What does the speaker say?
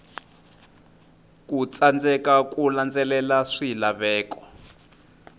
ku tsandzeka ku landzelela swilaveko